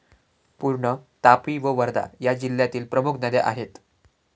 पूर्ण, तापी व वर्धा या जिल्ह्यातील प्रमुख नद्या आहेत.